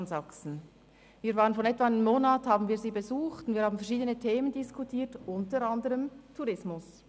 Wir haben diesen vor ungefähr einem Monat besucht und verschiedene Themen diskutiert, unter anderem den Tourismus.